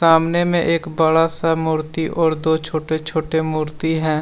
आमने में एक बड़ा सा मूर्ति और दो छोटे छोटे मूर्ति हैं।